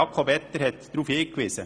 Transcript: Jakob Etter hat darauf hingewiesen.